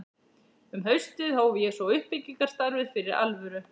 Um haustið hóf ég svo uppbyggingarstarfið fyrir alvöru.